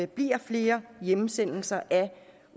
bliver flere hjemsendelser af